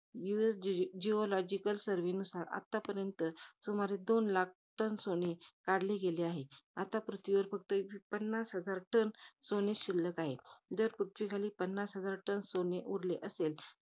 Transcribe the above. जी~ geological surve नुसार, आतापर्यंत सुमारे, दोन लाख टन सोने काढले गेले आहे. आता पृथ्वीवर फक्त पन्नास हजार टन सोने शिल्लक आहे. जर पृथ्वीखाली पन्नास हजार टन सोने उरले असेल,